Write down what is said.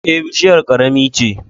Eh, bushiyar ƙarami ce.